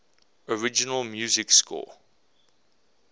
original music score